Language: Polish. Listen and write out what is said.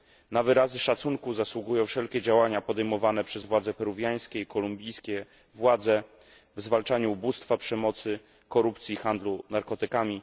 Na wyrazy szacunku zasługują wszelkie działania podejmowane przez władze peruwiańskie i kolumbijskie w zwalczaniu ubóstwa, przemocy, korupcji, handlu narkotykami.